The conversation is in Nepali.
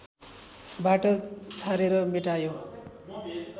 बाट छानेर मेटायो